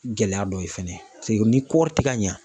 Gɛlɛya dɔ ye fɛnɛ ni kɔɔri ti ka ɲa.